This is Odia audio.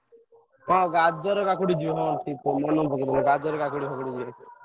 ହଁ ଗାଜର, କାକୁଡି ଯିବ ଠିକ୍ ମାନେ ପକେଇଦେଲ ଗାଜର କାକୁଡି ଫକଉଡି ଯିବ।